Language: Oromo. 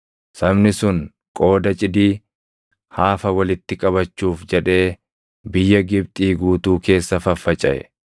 Sabni sun qooda cidii, haafa walitti qabachuuf jedhee biyya Gibxii guutuu keessa faffacaʼe.